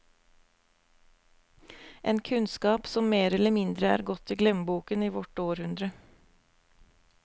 En kunnskap som mer eller mindre er gått i glemmeboken i vårt århundre.